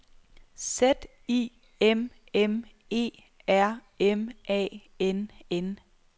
Z I M M E R M A N N